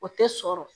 O tɛ sɔrɔ